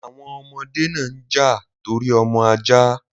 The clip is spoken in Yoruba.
The children fought over the puppy